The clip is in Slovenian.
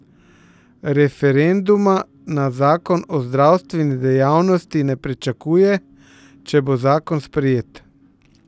Referenduma na zakon o zdravstveni dejavnosti ne pričakuje, če bo zakon sprejet.